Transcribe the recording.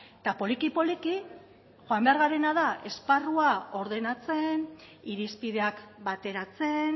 eta poliki poliki joan behar garena da esparrua ordenatzen irizpideak bateratzen